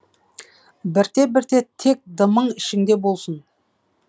бірте бірте тек дымың ішіңде болсын